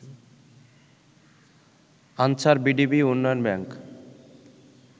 answer VDP উন্নয়ন bank